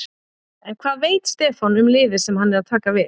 En hvað veit Stefán um liðið sem hann er að taka við?